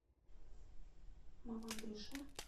мамадыше